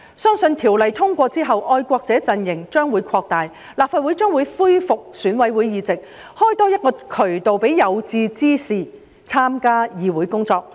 相信《條例草案》通過之後，愛國者陣型將會擴大，立法會將會恢復選委會界別議席，多開一個渠道讓有志之士參加議會工作。